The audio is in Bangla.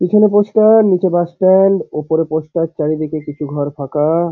পিছনে পোস্টার নিচে বাস স্ট্যান্ড ওপরে পোস্টার চারিদিকে কিছু ঘর ফাঁকা।